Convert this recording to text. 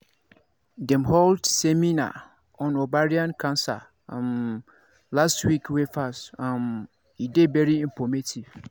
dem hold seminar on ovarian cancer um last week wey pass um e dey very informative